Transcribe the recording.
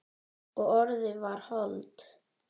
Og orðið varð hold.